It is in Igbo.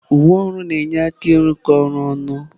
Uwe ọrụ na-enye aka ịrụkọ ọrụ ọnụ.